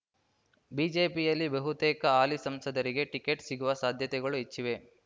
ಬಿಜೆಪಿಯಲ್ಲಿ ಬಹುತೇಕ ಹಾಲಿ ಸಂಸದರಿಗೆ ಟಿಕೆಟ್ ಸಿಗುವ ಸಾಧ್ಯತೆಗಳು ಹೆಚ್ಚಿವೆ